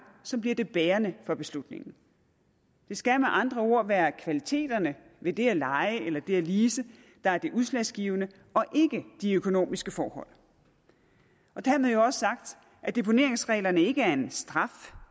så bliver det bærende for beslutningen det skal med andre ord være kvaliteterne ved det at leje eller det at lease der er det udslagsgivende og ikke de økonomiske forhold dermed jo også sagt at deponeringsreglerne ikke er en straf